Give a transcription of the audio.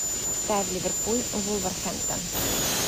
ставь ливерпуль вулверхэмптон